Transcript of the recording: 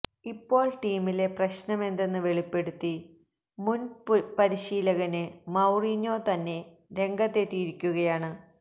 ഇപ്പോള് ടീമിലെ പ്രശ്നമെന്തെന്ന് വെളിപ്പെടുത്തി മുന് പരിശീലകന് മൌറീഞ്ഞോ തന്നെ രംഗത്തെത്തിയിരിക്കുകയാണ്